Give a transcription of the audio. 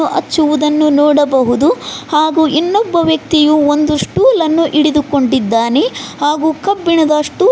ಹಚ್ಚುವುದನ್ನು ನೋಡಬಹುದು ಹಾಗು ಇನ್ನೊಬ್ಬ ವ್ಯಕ್ತಿಯು ಒಂದು ಸ್ಟೂಲ ನ್ನು ಹಿಡಿದುಕೊಂಡಿದ್ದಾನೆ ಹಾಗು ಕಬ್ಬಿಣದ ಸ್ಟೂಲ್ .